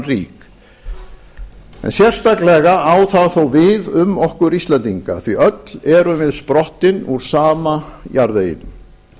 rík en sérstaklega á það þó við um okkur íslendinga því öll erum við sprottin úr sama jarðveginum